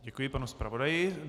Děkuji panu zpravodaji.